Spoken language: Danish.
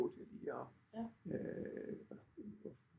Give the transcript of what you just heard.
Til lige at